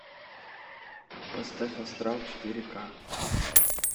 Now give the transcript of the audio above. поставь астрал четыре ка